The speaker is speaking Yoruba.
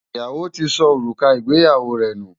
Ìyàwó ti sọ òrùka ìgbéyàwó rẹ̀ nù.